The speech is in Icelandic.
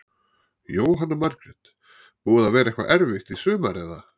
Jóhanna Margrét: Búið að vera eitthvað erfitt í sumar eða?